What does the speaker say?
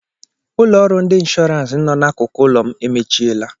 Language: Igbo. Ụlọ ọrụ ndị inshọrans nọ n'akụkụ ụlọ m emechiela.